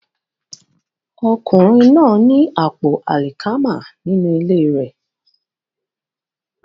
Ọkùnrin náà ní àpò àlìkámà nínú ilé rẹ̀